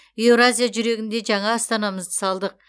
еуразия жүрегінде жаңа астанамызды салдық